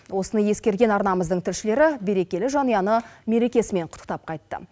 осыны ескерген арнамыздың тілшілері берекелі жанұяны мерекесімен құттықтап қайтты